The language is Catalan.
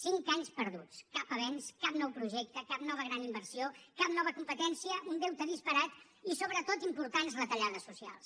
cinc anys perduts cap avenç cap nou projecte cap nova gran inversió cap nova competència un deute disparat i sobretot importants retallades socials